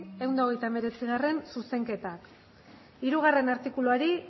ehun eta hogeita hemeretzigarrena zuzenketak hirugarrena artikuluari